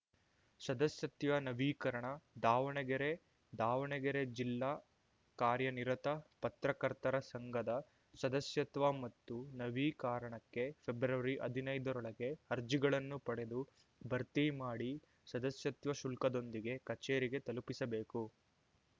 ಸದಸ್ಯತ್ವ ನವೀಕರಣ ದಾವಣಗೆರೆ ದಾವಣಗೆರೆ ಜಿಲ್ಲಾ ಕಾರ್ಯನಿರತ ಪತ್ರಕರ್ತರ ಸಂಘದ ಸದಸ್ಯತ್ವ ಮತ್ತು ನವೀಕಾರಣಕ್ಕೆ ಫೆಬ್ರವರಿಹದಿನೈದರೊಳಗೆ ಅರ್ಜಿಗಳನ್ನು ಪಡೆದು ಭರ್ತಿ ಮಾಡಿ ಸದಸ್ಯತ್ವ ಶುಲ್ಕದೊಂದಿಗೆ ಕಚೇರಿಗೆ ತಲುಪಿಸಬೇಕು